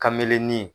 Kamelin